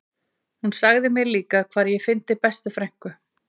Hún sagði mér líka hvar ég fyndi bestu frænku